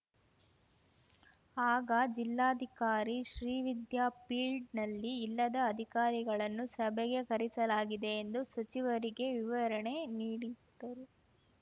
ಆಗ ಜಿಲ್ಲಾಧಿಕಾರಿ ಶ್ರೀವಿದ್ಯಾ ಪೀಲ್ಡ್‌ನಲ್ಲಿ ಇಲ್ಲದ ಅಧಿಕಾರಿಗಳನ್ನು ಸಭೆಗೆ ಕರೆಸಲಾಗಿದೆ ಎಂದು ಸಚಿವರಿಗೆ ವಿವರಣೆ ನೀಡಿದ್ದರು